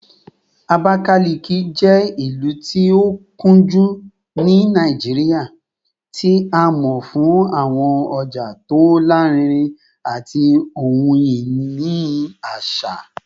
Abakalaki jẹ ilu ti o kunju ni Naijiria, ti a mọ fun awọn ọja ti o larinrin ati ohun-ini aṣa